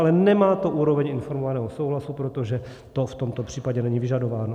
Ale nemá to úroveň informovaného souhlasu, protože to v tomto případě není vyžadováno.